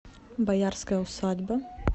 боярская усадьба